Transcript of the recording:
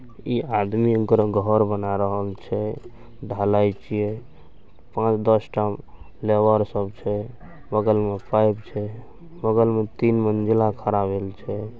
इ आदमी ककरो घर बना रहा छै ढ़लाई छिये पांच-दस टा लेबर सब छै बगल मे पाइप छै बगल मे तीन मंजिला खड़ा भेल छै।